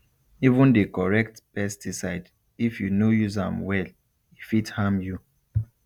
even the correct pesticide if you no use am well e fit harm you